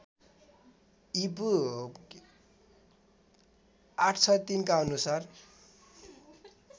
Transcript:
ईपू ८६३ का अनुसार